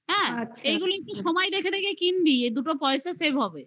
হ্যাঁ আচ্ছা এইগুলো একটু সময় দেখে দেখে কিনবি এই দুটো পয়সা save হবে. বুঝলি